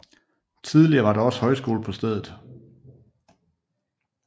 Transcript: Tidligere var der også højskole på stedet